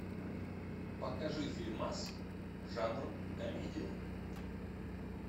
покажи фильмас жанр комедия